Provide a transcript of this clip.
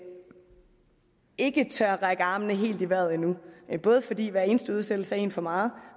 ikke række armene helt i vejret endnu både fordi hver eneste udsættelse er en for meget